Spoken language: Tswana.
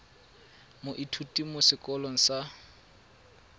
moithuti mo sekolong sa mo